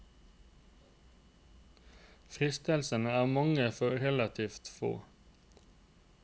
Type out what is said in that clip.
Fristelsene er mange for relativt få.